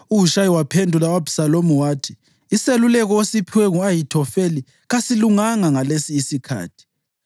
UHushayi waphendula u-Abhisalomu wathi, “Iseluleko osiphiwe ngu-Ahithofeli kasilunganga ngalesi isikhathi.